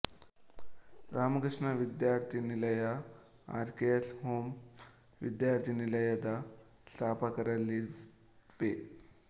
ರಾಮಕೃಷ್ಣ ವಿದ್ಯಾರ್ಥಿನಿಲಯಆರ್ K S home ವಿದ್ಯಾರ್ಥಿನಿಲಯದ ಸ್ಥಾಪಕರಲ್ಲಿ ವಿ